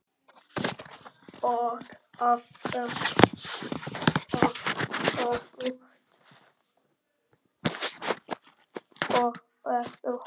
Og öfugt.